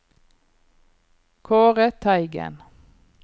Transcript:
Kaare Teigen